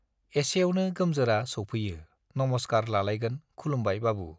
एसेआवनो गोमजोरा सौफैयो नमस्कार लालायगोन खुलुमबाय बाबु